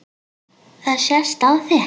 Það sést á þér